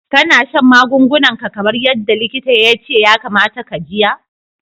Kana shan magungunan ka kamar yadda likita ya ce ya kamata ka jiya?